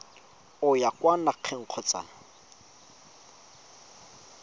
o ya kwa nageng kgotsa